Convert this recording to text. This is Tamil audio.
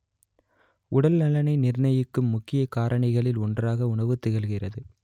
உடல் நலனை நிர்ணயிக்கும் முக்கிய காரணிகளில் ஒன்றாக உணவு திகழ்கிறது